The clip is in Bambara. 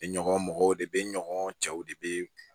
Bɛ ɲɔgɔn mɔgɔw de bɛ ɲɔgɔn cɛw de bɛ